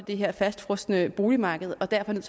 det her fastfrosne boligmarked og derfor er